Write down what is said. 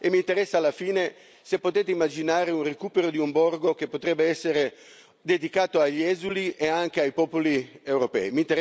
E mi interessa, infine, se potete immaginare un recupero di un borgo che potrebbe essere dedicato agli esuli e anche ai popoli europei.